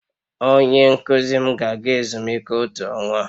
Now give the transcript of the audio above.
Onye nkuzi m ga-aga ezumike otu ọnwa